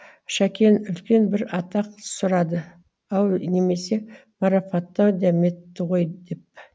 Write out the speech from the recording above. шәкең үлкен бір атақ сұрады ау немесе марапаттау дәметті ғой деп